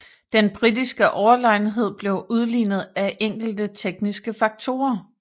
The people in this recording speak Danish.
Den britiske overlegenhed blev udlignet af enkelte tekniske faktorer